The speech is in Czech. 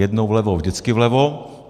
Jednou vlevo, vždycky vlevo.